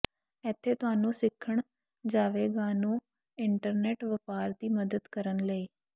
ਇੱਥੇ ਤੁਹਾਨੂੰ ਸਿੱਖਣ ਜਾਵੇਗਾ ਨੂੰ ਇੰਟਰਨੈੱਟ ਵਪਾਰ ਦੀ ਮਦਦ ਕਰਨ ਲਈ